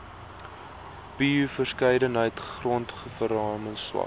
bioverskeidenheid grondverarming swak